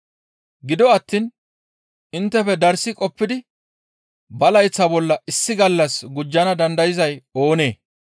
Gido attiin inttefe darssi qoppidi ba layththa bolla issi gallas gujjana dandayzay oonee?